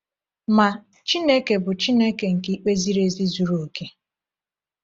Ma, Chineke bụ Chineke nke ikpe ziri ezi zuru oke.